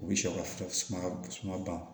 U bɛ sɛw ka suman ban